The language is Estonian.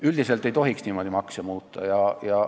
Üldiselt ei tohiks makse niimoodi muuta.